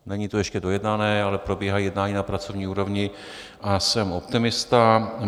Není to ještě dojednané, ale probíhají jednání na pracovní úrovni, a jsem optimista.